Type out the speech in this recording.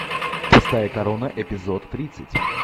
пустая корона эпизод тридцать